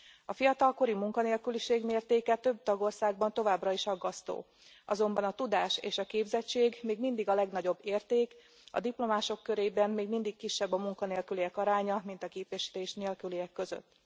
A fiatalkori munkanélküliség mértéke több tagországban továbbra is aggasztó, azonban a tudás és a képzettség még mindig a legnagyobb érték, a diplomások körében még mindig kisebb a munkanélküliek aránya, mint a képesítés nélküliek között.